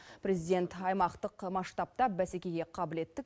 президент аймақтық масштабта бәсекеге қабілетті